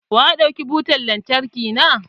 Wa ya ɗauki butan lantarki na?